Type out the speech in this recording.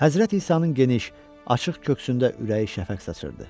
Həzrət İsanın geniş, açıq köksündə ürəyi şəfəq saçırdı.